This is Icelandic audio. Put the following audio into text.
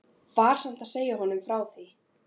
Var samt ekki að segja honum frá því.